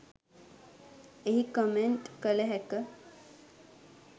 එහි කොමෙන්ට් කළ හැක.